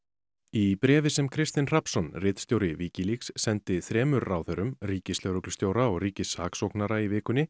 í bréfi sem Kristinn Hrafnsson ritstjóri Wikileaks sendi þremur ráðherrum ríkislögreglustjóra og ríkissaksóknara í vikunni